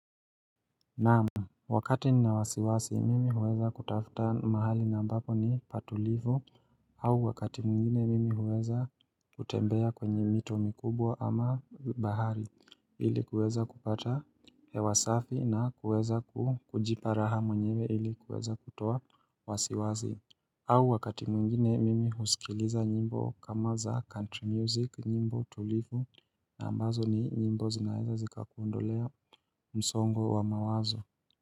Naam, wakati ni na wasiwasi, mimi huweza kutafuta mahali ambapo ni patulivu, au wakati mwingine mimi huweza kutembea kwenye mito mikubwa ama bahari ili kuweza kupata hewasafi na kuweza kujipa raha mwenyewe ili kuweza kutoa wasiwasi au wakati mwingine mimi husikiliza nyimbo kama za country music nyimbo tulivu na ambazo ni nyimbo zinaeza zika kuondolea msongo wa mawazo.